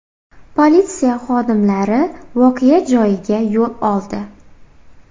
Politsiya xodimlari voqea joyiga yo‘l oldi.